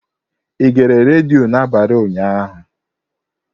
Ị gere redio n'abalị ụnyaahụ?